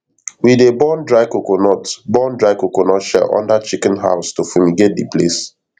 we dey burn dry coconut burn dry coconut shell under chicken house to fumigate the place